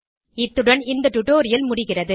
இத்துடன் இந்த டுடோரியல் முடிகிறது